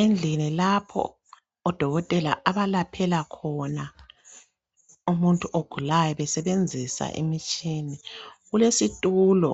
Endlini lapho odokotela abalaphela khona umuntu ogulayo besebenzisa imitshini kulesitulo